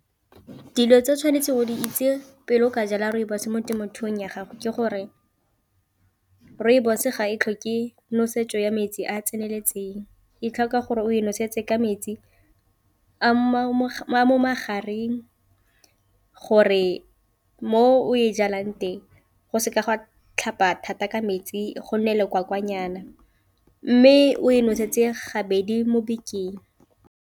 Dilo tsa tshwanetseng go di itse pele o ka jala rooibos mo temothung ya gago ke gore rooibos ga e tlhoke nosetso ya metsi a a tseneletseng, e tlhoka gore o e nosetsa ka metsi a mo magareng gore mo o e jalang teng go seka gwa tlhapa thata ka metsi go nne lekwakwanyana, mme o e noseditse gabedi mo bekeng.